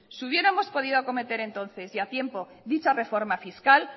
si hubiéramos podido cometer entonces y a tiempo dicha reforma fiscal